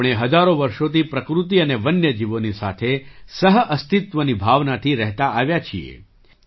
આપણે હજારો વર્ષોથી પ્રકૃતિ અને વન્ય જીવોની સાથે સહ અસ્તિત્વની ભાવનાથી રહેતા આવ્યા છીએ